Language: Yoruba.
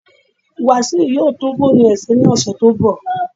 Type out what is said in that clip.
Wasiu will repair his phone next week